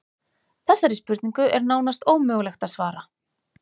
Þessari spurningu er nánast ómögulegt að svara.